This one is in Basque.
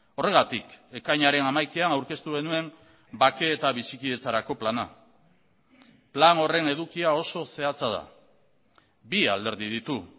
horregatik ekainaren hamaikaan aurkeztu genuen bake eta bizikidetzarako plana plan horren edukia oso zehatza da bi alderdi ditu